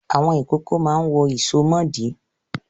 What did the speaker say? Àwọn ìkókó máa ń wọ ìsomọ́ọ̀dí.